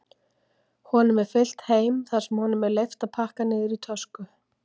Honum er fylgt heim þar sem honum er leyft að pakka niður í tösku.